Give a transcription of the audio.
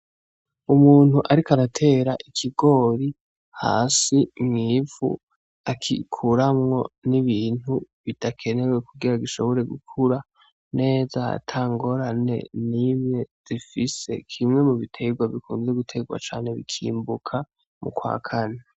Umuntu ariko aratera ikigori hasi mu ivu agikuramwo n'ibintu bidakenewe kugira gishobore gukura neza atangorane n'imwe gifise kimwe mu biterwa bikunda guterwa cane bikimbuka mu kwakane.